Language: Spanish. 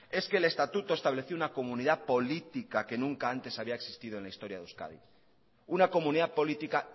es que el estatuto estableció una comunidad política que nunca antes había existido en la historia de euskadi una comunidad política